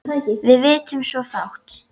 Við vitum svo fátt.